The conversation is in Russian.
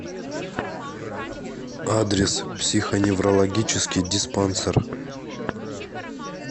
адрес психоневрологический диспансер